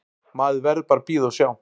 Maður verður bara að bíða og sjá.